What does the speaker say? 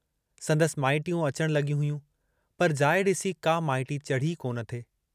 संदसि माइटियूं अचण लग॒यूं हुयूं, पर जाइ डिसी का माइटी चढ़ी ई कोन थे।